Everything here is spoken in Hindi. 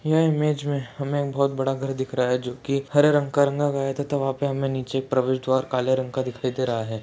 ये इमेज में हमें एक बहुत बड़ा घर दिख रहा है जो की हरे रंग का गया है तथा वहाँ पे हमे नीचे एक प्रवेश द्वार काले रंग का दिखाई दे रहा है।